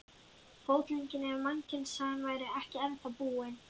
Fótleggina ef mannkynssagan væri ekki ennþá búin.